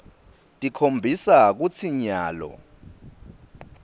tikhombisa kutsi nyalo